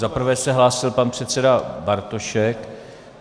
Za prvé se hlásil pan předseda Bartošek.